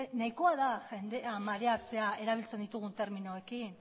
nahikoa da jendea mareatzea erabiltzen ditugun terminoekin